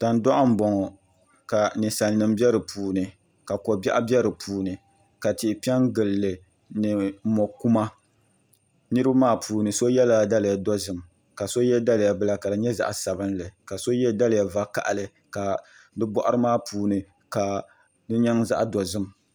Tandoɣu n boŋo ka ninsal nim bɛ di puuni ka ko biɛɣu bɛ di puuni ka tihi piɛ n gilili ni mo kuma niraba maa puuni so yɛla daliya dozim ka so yɛ daliya bila ka di nyɛ zaɣ sabinli ka so yɛ daliya vakaɣali ka di boɣari maa puuni ka di nyɛ zaɣ dozim